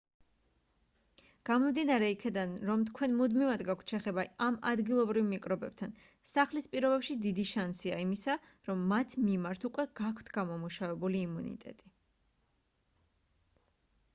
გამომდინარე იქედან რომ თქვენ მუდმივად გაქვთ შეხება ამ ადგილობრივ მიკრობებთან სახლის პირობებში დიდი შანსია იმისა რომ მათ მიმართ უკვე გაქვთ გამომუშავებული იმუნიტეტი